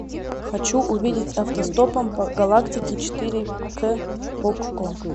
хочу увидеть автостопом по галактике четыре к окко